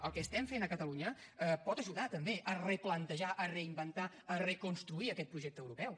el que estem fent a catalunya pot ajudar també a replantejar a reinventar a reconstruir aquest projecte europeu